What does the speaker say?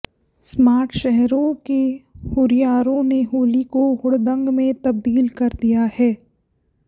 smart शहरों के हुरियारों ने होली को हुड़दंग में तबदील कर दिया है